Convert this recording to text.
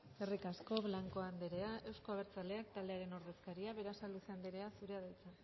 eskerrik asko blanco anderea euzko abertzaleak taldearen ordezkaria berasaluze anderea zurea da hitza